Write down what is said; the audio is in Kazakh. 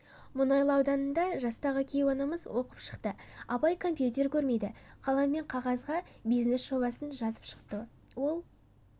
мұнайлы ауданында жастағы кейуанамыз оқып шықты апай компьютер көрмейді қалам мен қағазға бизнес-жобасын жазып шықты ол